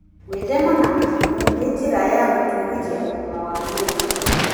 Gwĩthema na mĩrimũ nĩ njĩra ya gũtũgĩria ũgima wa mwĩrĩ mwega.